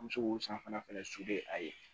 An bɛ se k'o san fana a ye